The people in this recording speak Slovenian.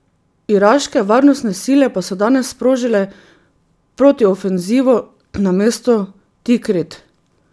Iraške varnostne sile pa so danes sprožile protiofenzivo na mesto Tikrit.